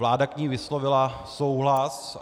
Vláda k ní vyslovila souhlas.